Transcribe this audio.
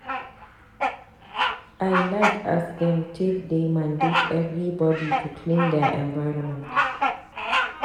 I like as dem take dey mandate everbody to clean their environment.